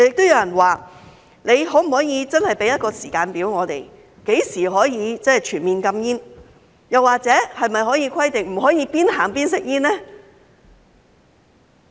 又有人表示，政府可否真的提供一個時間表，訂明何時可以全面禁煙，又或可否規定不准邊走邊吸煙呢？